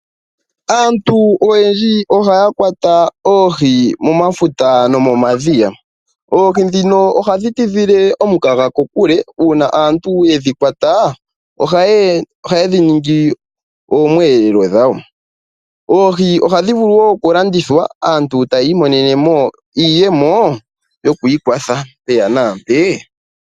Aantu oyendji ohaya kwata oohi momafuta nomomadhiya. Oohi ndhino ohadhi tidhile omukaga kokule, uuna aantu yedhi kwata, ohaye dhi ningi oomwelelwa dhawo. Oohi ohadhi vulu woo okulandithwa, aantu e taya imonene mo iiyemo, yoku ikwatha mpeya nampee.